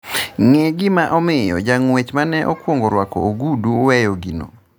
ng'e gima omiyo jang'uech mane okuongo rwako ogudu weyo gino